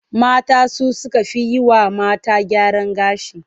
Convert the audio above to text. Mata su suka fi yi wa mata gyaran gashi.